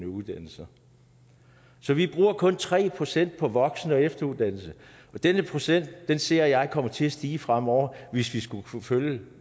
uddannelser så vi bruger kun tre procent på voksen og efteruddannelse og den procent ser jeg komme til at stige fremover hvis vi skal kunne følge